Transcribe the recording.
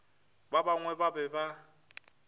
ba bangwe ba be ba